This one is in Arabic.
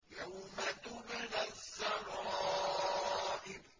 يَوْمَ تُبْلَى السَّرَائِرُ